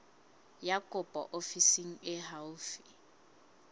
ya kopo ofising e haufi